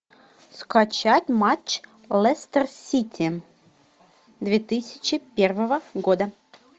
скачать матч лестер сити две тысячи первого года